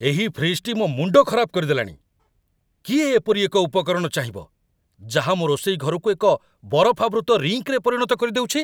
ଏହି ଫ୍ରିଜ୍‌ଟି ମୋ ମୁଣ୍ଡ ଖରାପ କରିଦେଲାଣି। କିଏ ଏପରି ଏକ ଉପକରଣ ଚାହିଁବ ଯାହା ମୋ ରୋଷେଇ ଘରକୁ ଏକ ବରଫାବୃତ ରିଙ୍କ୍‌ରେ ପରିଣତ କରିଦେଉଛି?